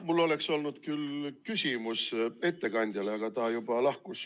Mul oleks olnud küll küsimus ettekandjale, aga ta juba lahkus.